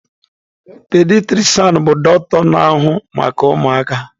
Pediatrishan bụ dọkịta na-ahụ maka ụmụaka.